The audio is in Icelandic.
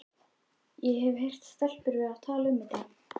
Ég hef heyrt stelpur vera að tala um þetta.